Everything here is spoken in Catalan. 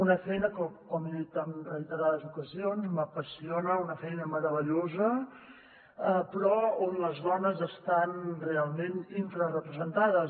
una feina que com he dit en reiterades ocasions m’apassiona una feina merave·llosa però on les dones estan realment infrarepresentades